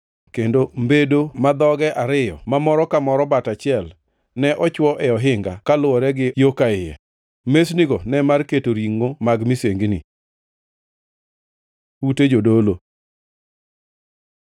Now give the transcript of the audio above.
Kendo mbedo ma dhogi ariyo, ma moro ka moro bat achiel, ne ochwo e ohinga, kaluwore gi yo ka iye. Mesnigo ne mar keto ringʼo mag misengini. Ute jodolo